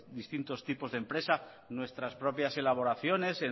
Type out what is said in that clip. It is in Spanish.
distintos tipos de empresa nuestras propias elaboraciones